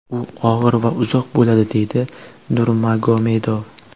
U og‘ir va uzoq bo‘ladi”, deydi Nurmagomedov.